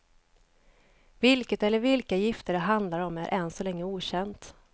Vilket eller vilka gifter det handlar om är än så länge okänt.